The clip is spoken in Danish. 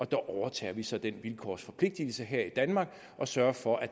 der overtager vi så den vilkårsforpligtelse her i danmark og sørger for at